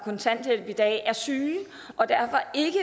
kontanthjælp i dag er syge og derfor ikke